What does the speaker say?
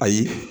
Ayi